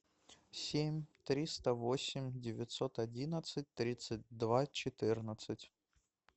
семь триста восемь девятьсот одиннадцать тридцать два четырнадцать